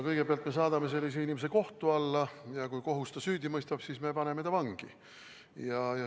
Kõigepealt me saadame sellise inimese kohtu alla ja kui kohus ta süüdi mõistab, siis me paneme ta vangi.